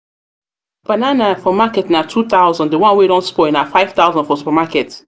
banana for market na #2000 the one wey don spoil na #5000 for supermarket.